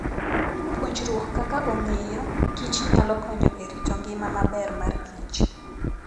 Puonjruok kaka ong'eyo kich nyalo konyo e rito ngima maber markich.